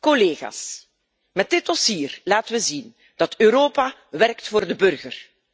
Collega's, met dit dossier laten we zien dat Europa werkt voor de burger.